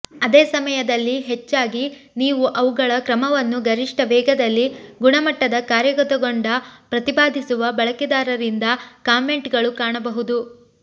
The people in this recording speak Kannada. ಅದೇ ಸಮಯದಲ್ಲಿ ಹೆಚ್ಚಾಗಿ ನೀವು ಅವುಗಳ ಕ್ರಮವನ್ನು ಗರಿಷ್ಠ ವೇಗದಲ್ಲಿ ಗುಣಮಟ್ಟದ ಕಾರ್ಯಗತಗೊಂಡ ಪ್ರತಿಪಾದಿಸುವ ಬಳಕೆದಾರರಿಂದ ಕಾಮೆಂಟ್ಗಳು ಕಾಣಬಹುದು